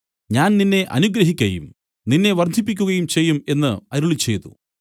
ഞാൻ നിന്നെ അനുഗ്രഹിക്കയും നിന്നെ വർദ്ധിപ്പിക്കുകയും ചെയ്യും എന്നു അരുളിച്ചെയ്തു